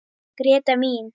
Gréta mín.